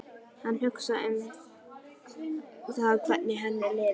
Hann hugsaði um það hvernig henni liði.